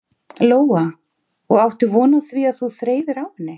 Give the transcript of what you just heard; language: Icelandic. Lóa: Og áttu von á því að þú þreifir á henni?